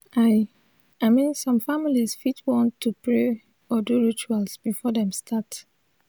i i min som familiz fit wan to pray or do rituals before dem start